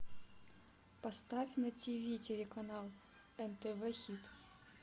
поставь на тв телеканал нтв хит